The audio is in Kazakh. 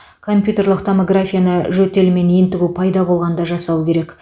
компьютерлік томографияны жөтел мен ентігу пайда болғанда жасау керек